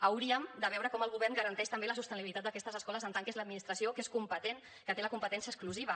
hauríem de veure com el govern garanteix també la sostenibilitat d’aquestes escoles en tant que és l’administració que és competent que té la competència exclusiva